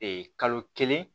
kalo kelen